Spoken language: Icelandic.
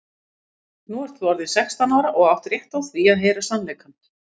Nú ert þú orðin sextán ára og átt rétt á því að heyra sannleikann.